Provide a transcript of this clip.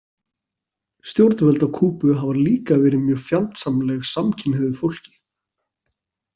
Stjórnvöld á Kúbu hafa líka verið mjög fjandsamleg samkynhneigðu fólki.